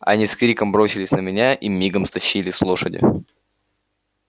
они с криком бросились на меня и мигом стащили с лошади